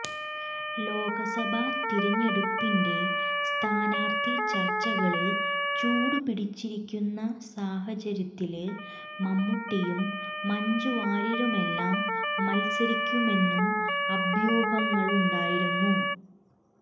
ലോക്സഭ തിരഞ്ഞെടുപ്പിന്റെ സ്ഥാനാര്ത്ഥി ചര്ച്ചകള് ചൂടുപിടിച്ചിരിക്കുന്ന സാഹചര്യത്തില് മമ്മൂട്ടിയും മഞ്ജു വാര്യരുമെല്ലാം മത്സരിക്കുമെന്നും അഭ്യൂഹങ്ങളുണ്ടായിരുന്നു